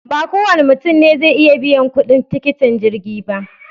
Ba kowane mutum ne zai iya biyan kuɗin tiketin jirgi ba